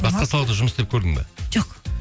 басқа салада жұмыс істеп көрдің бе жоқ